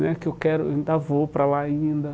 né que eu quero eu ainda vou para lá ainda.